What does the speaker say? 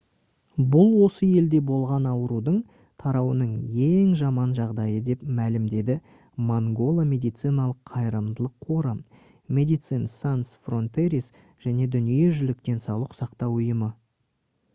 бұл осы елде болған аурудың тарауының ең жаман жағдайы деп мәлімдеді mangola медициналық қайырымдылық қоры medecines sans frontieres және дүниежүзілік денсаулық сақтау ұйымы